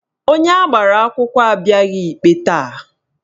Onye agbara akwụkwọ abịaghị ikpe taa